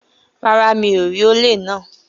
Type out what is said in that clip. Rárá, mi ò rí olè náà